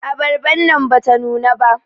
Abarban nan bata nuna ba.